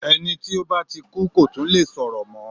Ẹni tó ba ti kú kò tún le sọ̀rọ̀ mọ́.